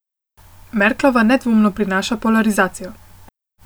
Merklova nedvomno prinaša polarizacijo.